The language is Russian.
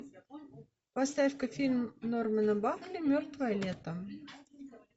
поставь ка фильм нормана бакли мертвое лето